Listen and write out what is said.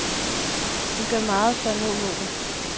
Vi gør meget for at nå målet.